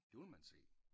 Det vil man se